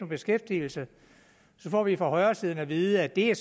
beskæftigelse så får vi fra højresiden at vide at det er